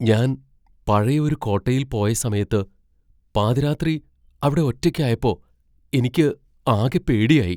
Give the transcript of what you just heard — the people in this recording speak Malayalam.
ഞാൻ പഴയ ഒരു കോട്ടയിൽ പോയ സമയത്ത് പാതിരാത്രി അവിടെ ഒറ്റക്കായപ്പോ എനിക്ക് ആകെ പേടിയായി.